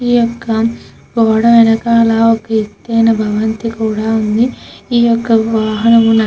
ఈ యెుక్క గోడ వెనుకల ఒక ఎత్తయిన భవంతి కూడా ఉంది. ఈ యొక్క వాహనమున --